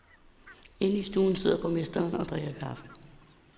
Inde i stuen sidder borgmesteren og drikker kaffe.